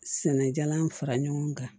Sɛnɛ jalan fara ɲɔgɔn kan